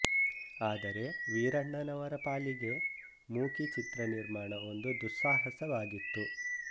ಆದರೆ ವೀರಣ್ಣನವರ ಪಾಲಿಗೆ ಮೂಕಿ ಚಿತ್ರ ನಿರ್ಮಾಣ ಒಂದು ದುಸ್ಸಾಹಸವಾಗಿತ್ತು